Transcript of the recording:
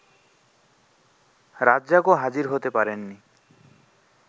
রাজ্জাকও হাজির হতে পারেননি